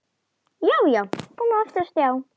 Já, já, komin aftur á stjá!